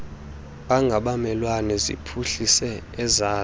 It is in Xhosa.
angabamelwane ziphuhlise ezazo